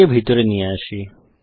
একে ভিতরে নিয়ে আসি